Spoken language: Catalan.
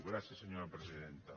gràcies senyora presidenta